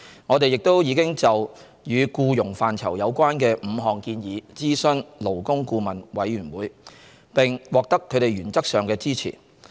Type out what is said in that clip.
我們亦已就與僱傭範疇有關的5項建議諮詢勞工顧問委員會，並獲得他們原則上的支持。